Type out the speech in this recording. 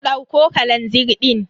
Dauko kalazir din.